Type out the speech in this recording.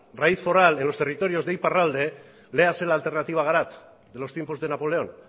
raíz foral en los territorios de iparralde léase la alternativa garat de los tiempos de napoleón